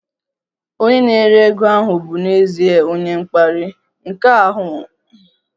Onye na-ere ego ahụ bụ n'ezie onye mkparị, nke ahụ abụghị ụzọ isi gwa onye ahịa okwu